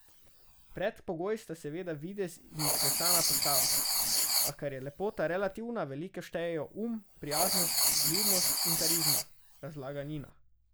Predpogoj sta seveda videz in izklesana postava, a ker je lepota relativna, veliko štejejo um, prijaznost, vljudnost in karizma, razlaga Nina.